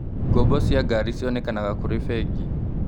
Ngombo cia ngari cionekanaga kũrĩ bengi.